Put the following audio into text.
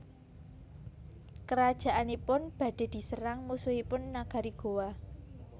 Kerajaanipun badhe diserang musuhipun nagari Gowa